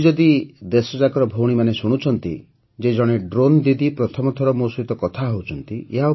ଆଜି ଯଦି ଦେଶଯାକର ଭଉଣୀମାନେ ଶୁଣୁଛନ୍ତି ଯେ ଜଣେ ଡ୍ରୋନ୍ ଦିଦି ପ୍ରଥମ ଥର ମୋ ସହିତ କଥା ହେଉଛନ୍ତି